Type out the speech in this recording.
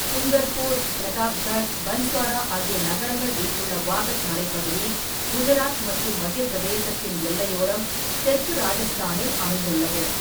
டூங்கர்பூர், பிரதாப்கர், பன்ஸ்வாரா ஆகிய நகரங்கள் வீற்றுள்ள வாகட் மலைப்பகுதி குஜராத் மற்றும் மத்திய பிரதேசத்தின் எல்லையோரம் தெற்கு ராஜஸ்தானில் அமைந்துள்ளது.